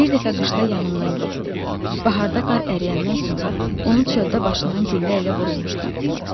Bir dəfə qışda yanımdan getdi, baharda qar əriyəndən sonra onu çöldə başından güllə ilə vurulmuş tapdılar.